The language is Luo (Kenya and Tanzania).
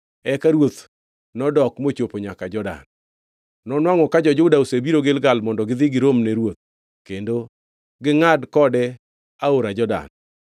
Eka ruoth nodok mochopo nyaka Jordan. Nonwangʼo ka jo-Juda osebiro Gilgal mondo gidhi giromne ruoth kendo gingʼad kode aora Jordan.